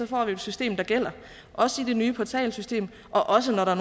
får vi et system der gælder i det nye portalsystem og også når der